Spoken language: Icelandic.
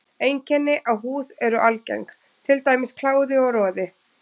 Einkenni á húð eru algeng, til dæmis kláði og roði.